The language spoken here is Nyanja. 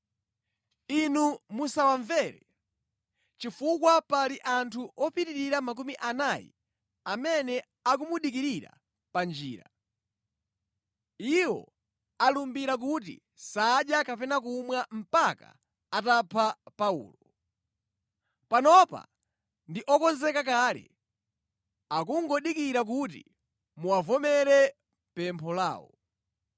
Inu musawamvere, chifukwa pali anthu opitirira makumi anayi amene akumudikirira pa njira. Iwo alumbira kuti sadya kapena kumwa mpaka atapha Paulo. Panopa ndi okonzeka kale, akungodikira kuti muwavomere pempho lawo.”